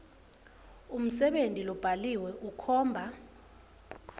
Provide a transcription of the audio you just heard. umsebenti lobhaliwe ukhomba